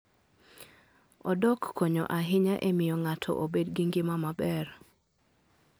Odok konyo ahinya e miyo ng'ato obed gi ngima maber.